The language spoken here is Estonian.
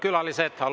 Auväärt külalised!